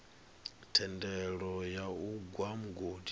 thendelo ya u gwa mugodi